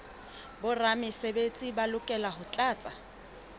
boramesebetsi ba lokela ho tlatsa